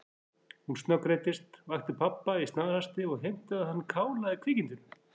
Hún snöggreiddist, vakti pabba í snarhasti og heimtaði að hann kálaði kvikindinu.